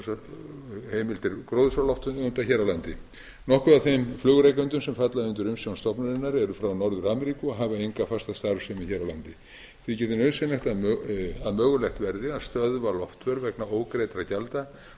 um losunarheimildir gróðurhúsalofttegunda hér á landi nokkuð af þeim flugrekendum sem falla undir umsjón stofnunarinnar eru frá norður ameríku og hafa enga fasta starfsemi hér á landi þykir því nauðsynlegt að mögulegt verði að stöðva loftför vegna ógreiddra gjalda